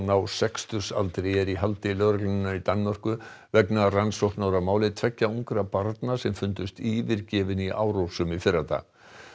á sextugsaldri er í haldi lögreglunnar í Danmörku vegna rannsóknar á máli tveggja ungra barna sem fundust yfirgefin í Árósum í fyrradag